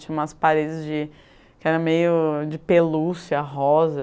Tinha umas paredes de, que era meio de pelúcia rosa.